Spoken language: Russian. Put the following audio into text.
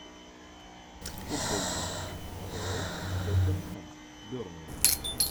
футбольный матч апл тоттенхэм бернли